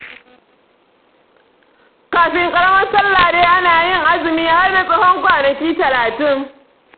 Kafin ƙaramar salla dai ana yin azumi, har na tsawon kwanaki talatin.